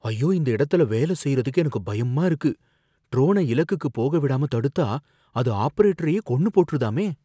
ஐயோ, இந்த இடத்துல வேலை செய்றதுக்கு எனக்கு பயமா இருக்கு, ட்ரோனை இலக்குக்கு போக விடாம தடுத்தா அது ஆபரேட்டரையே கொன்னு போட்ருதாமே.